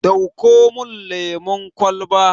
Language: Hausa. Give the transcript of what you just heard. Dauko mun lemun kwalba